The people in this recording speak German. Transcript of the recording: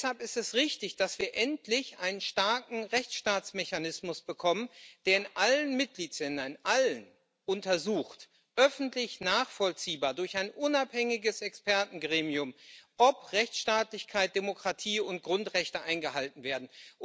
Deshalb ist es richtig, dass wir endlich einen starken Rechtsstaatsmechanismus bekommen, der in allen Mitgliedstaaten in allen öffentlich nachvollziehbar, durch ein unabhängiges Expertengremium untersucht, ob Rechtsstaatlichkeit, Demokratie und Grundrechte eingehalten werden.